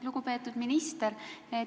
Lugupeetud minister!